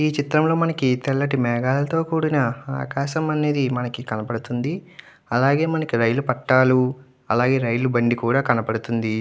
ఈ చిత్రంలో మనకి తెల్లటి మేఘాలతో కూడిన ఆకాశం అనేది మనకి కనబడుతుంది అలాగే మనకి రైలు పట్టాలు అలాగే రైలు బండి కూడా కనబడుతుంది.